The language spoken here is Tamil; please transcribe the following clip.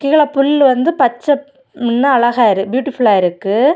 கீழ புல்லு வந்து பச்ச முன்ன அழகா இரு பியூட்டிஃபுல்லா இருக்கு.